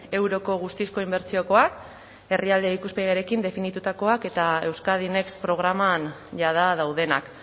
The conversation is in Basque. euroko guztizko inbertsiokoak herrialde ikuspegiarekin definitutakoak eta euskadi next programan jada daudenak